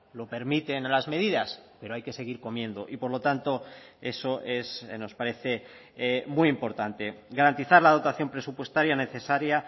lo permiten las medidas pero hay que seguir comiendo y por lo tanto eso es nos parece muy importante garantizar la dotación presupuestaria necesaria